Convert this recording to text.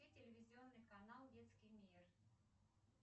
телевизионный канал детский мир